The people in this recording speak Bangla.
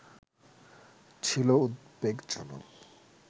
ছিলো উদ্বেগজনক